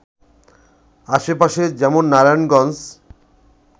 আশেপাশে যেমন নারায়ণগঞ্জ